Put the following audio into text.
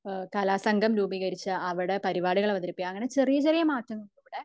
കലാസംഗം രൂപീകരിച്ച് അവിടെ പരിപാടികൾ അവതരിപ്പിക്കുക അങ്ങനെ ചെറിയ ചെറിയ മാറ്റങ്ങൾ